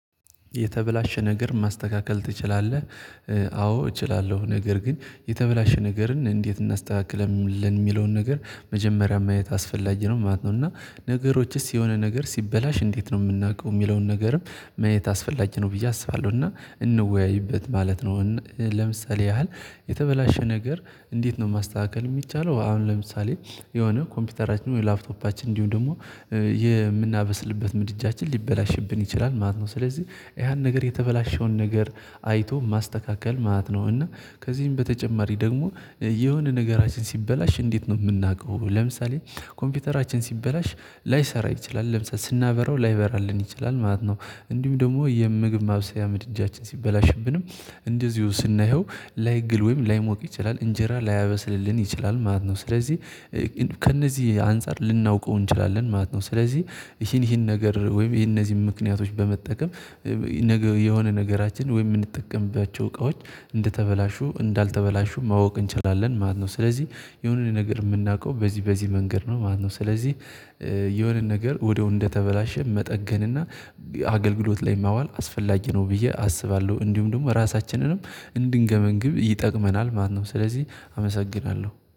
የተበላሸ ነገር ማስተካከል ትችላለህ? አዎ እችላለሁ ነገር ግን የተበላሸ ነገርን እንዴት እናስተካክለን የሚለውን ነገር መጀመሪያ ማየት አስፈላጊ ነው ማለት ነው። እና ነገሮችስ የሆነ ነገር ሲበላሽ እንዴት ነው የምናውቀው የሚለውን ነገርም? ማየት አስፈላጊ ነው ብዬ አስባለሁ እና እንወያይበት ማለት ነው። ለምሳሌ ያህል የተበላሸ ነገር እንዴት ነው ማስተካከል የሚቻለው? አሁን ለምሳሌ የሆነ ኮምፒውተራችን ወይ ላፕቶፓችን እንዲሁም ደግሞ የምናበስልበት ምድጃችን ሊበላሽብን ይችላል ማለት ነው። ስለዚህ ያን ነገር የተበላሸውን ነገር አይቶ ማስተካከል ማለት ነው። እና ከዚህም በተጨማሪ ደግሞ የሆነ ነገራችን ሲበላሽ እንዴት ነው የምናውቀው? ለምሳሌ ኮምፒውተራችን ሲበላሽ ላይሰራ ይችላል ለምሳሌ ስናበራው ላይበራልን ይችላል ማለት ነው። እንዲሁም ደግሞ የምግብ ማብሰያ ምድጃችን ሲበላሽብንም እንደዚሁ ስናየው ላይግል ወይም ላይሞቅ ይችላል እንጀራ ላያበስልልን ይችላል ማለት ነው። ስለዚህ ከእነዚህ አንፃር ልናውቀው እንችላለን ማለት ነው። ስለዚህ ይሄን ይሄን ነገር ወይም የነዚህን ምክንያቶች በመጠቀም የሆነ ነገራችን ወይ የምንጠቀምባቸው እቃዎች እንደተበላሹ እንዳልተበላሹ ማወቅ እንችላለን ማለት ነው። ስለዚህ የሆነን ነገር የምናውቀው በዚህ በዚህ መንገድ ነው። ማነው ስለዚህ የሆነን ነገር ወዲያው እንደተበላሸ መጠገንና አገልግሎት ላይ ማዋል አስፈላጊ ነው ብዬ አስባለሁ። እንዲሁም ደግሞ ራሳችንንም እንድንገመግም ይጠቅመናል ማነው ስለዚህ አመሰግናለሁ